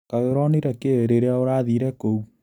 Kaĩ ũronire kĩi rĩria ũrathire kũu.